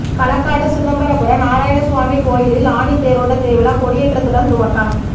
களக்காடு சிதம்பரபுரம் நாராயணசுவாமி கோயிலில் ஆனி தேரோட்ட திருவிழா கொடியேற்றத்துடன் துவக்கம்